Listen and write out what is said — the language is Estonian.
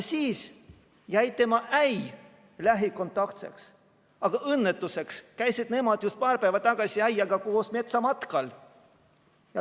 Siis jäi tema äi lähikontaktseks, aga õnnetuseks käisid nemad just paar päeva tagasi äiaga koos metsamatkal.